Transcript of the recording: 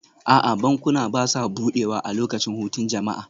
A'a, bankuna ba sa buɗewa a lokacin hutun jama'a